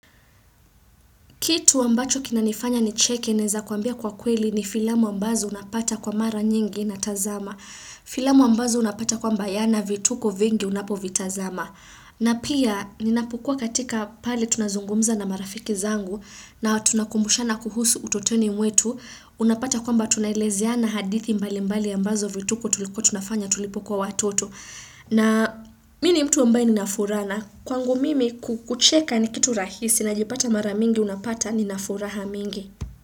Kitu ambacho kina nifanya nicheke naeza kuambia kwa kweli ni filamu ambazo unapata kwa mara nyingi natazama. Filamu ambazo unapata kwamba yana vituko vingi unapovitazama. Na pia ninapokua katika pale tunazungumza na marafiki zangu na tunakumbushana kuhusu utotoni mwetu. Unapata kwamba tunaelezeana hadithi mbali mbali ambazo vituko tulikuwa tunafanya tulipokuwa watoto. Na mi ni mtu ambaye nina furana kwangu mimi kucheka ni kitu rahisi najipata mara mingi unapata ninafuraha mingi.